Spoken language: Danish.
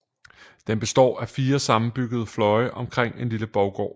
Den består af fire sammenbyggede fløje omkring en lille borggård